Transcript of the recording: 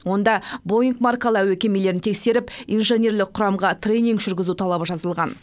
онда боинг маркалы әуе кемелерін тексеріп инженерлік құрамға тренинг жүргізу талабы жазылған